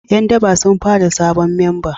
Yan daba sun fara sabon memba